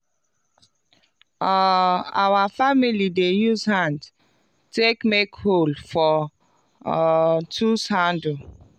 um our family dey use hand take make hole for um tools handle